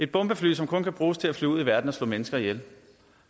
bombefly som kun kan bruges til at flyve ud i verden og slå mennesker ihjel